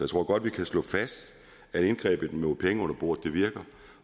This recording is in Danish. tror godt vi kan slå fast at indgrebet mod penge under bordet virker